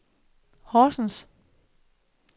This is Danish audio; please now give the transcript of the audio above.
Horsens